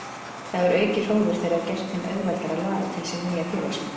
Það hefur aukið hróður þeirra og gert þeim auðveldara að laða til sín nýja félagsmenn.